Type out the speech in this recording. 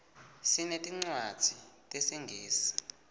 sinetincwadzi tesingisi